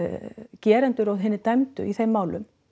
gerendur og hinir dæmdu í þeim málum